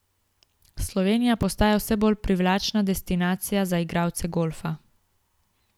Slovenija postaja vse bolj privlačna destinacija za igralce golfa.